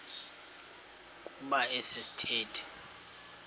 kuba esi sithethe